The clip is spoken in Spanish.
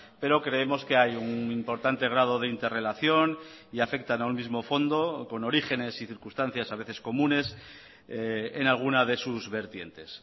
pero creemos que hay un importante grado de interrelación y afectan a un mismo fondo con orígenes y circunstancias a veces comunes en alguna de sus vertientes